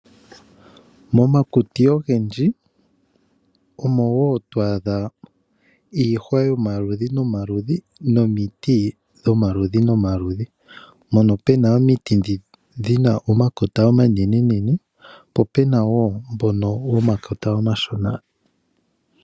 Momakuti ogendji omo woo to adha iihwa yomaludhi nomaludhi nomiti dhomaludhi nomaludhi. Mono muna omiti dhomakota omanene po puna woo ndhono dhomakota omashina.